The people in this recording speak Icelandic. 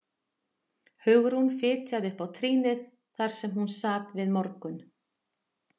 Hugrún fitjaði upp á trýnið þar sem hún sat við morgun